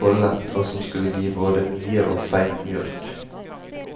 kollet, og som skulle gi både mye og feit mjølk.